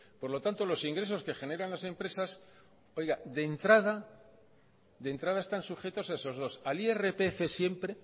por lo tanto los ingresos que generan las empresas oiga de entrada de entrada están sujetos a esos dos al irpf siempre